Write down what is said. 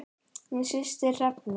Þín systir Hrefna.